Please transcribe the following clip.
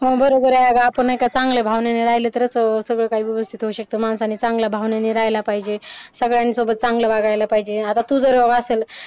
हो बरोबर आहे आपण म्हणजे चांगल्या भावनेने राहिला तरच व्यवस्थित सगळं काही व्यवस्थित होऊ शकतो माणसाने चांगल्या भावनेने राहिला पाहिजे सगळ्यांसोबत चांगलं वागायला पाहिजे आता तू जर असं